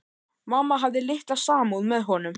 Mamma hafði litla samúð með honum.